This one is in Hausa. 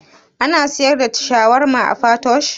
Ana siyar da shawarma a patoosh?